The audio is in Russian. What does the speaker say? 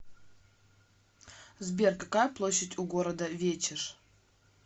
сбер какая площадь у города вечеш